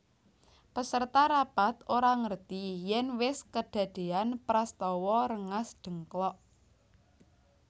Peserta rapat ora ngerti yèn wis kedadéyan prastawa Rengasdengklok